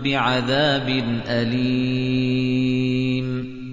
بِعَذَابٍ أَلِيمٍ